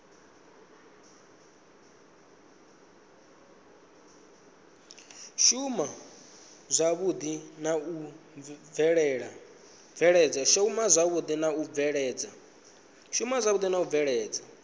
shuma zwavhui na u bveledza